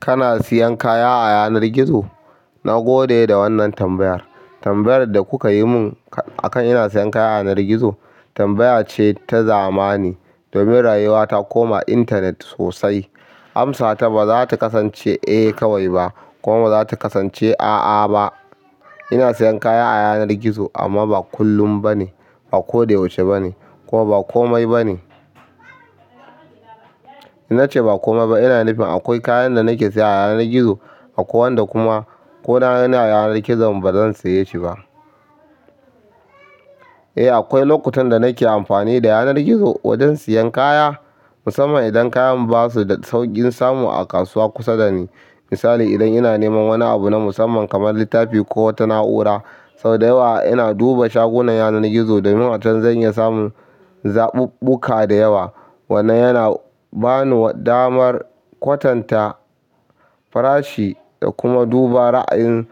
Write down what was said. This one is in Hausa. Kana siyan kaya a yanar gizo? Na gode da wannan tambayar. Tambayar da kuka yi mun akan ina siyan kaya a yanar gizo tambaya ce ta zamani. Domin rayuwa ta koma intanet sosai. Amsa ta ba za ta kasance eh kawai ba kuma ba za ta kasance a'a ba. Ina siyan kaya a yanar gizo amma ba kullum ba ne, ba koda yaushe ba ne kuma ba komai ba ne. In na ce ba komai ba, ina nufin akwai kayan da nake siya a yanar gizo akwai wanda kuma ko na gani a yanar gizon ba zan saye shi ba. Eh, akwai lokutan da nake amfani da yanar gizo wajen siyan kaya, musamman idan kayan basu da sauƙin samu a kasuwa kusa da ni. Misali idan ina neman wani abu na musamman kamar littafi ko wata na'ura, sau da yawa ina duba shagunan yanar gizo domin a can zan iya samun zaɓuɓɓuka da yawa. Wannan yana ba ni damar kwatanta farashi da kuma duba ra'ayin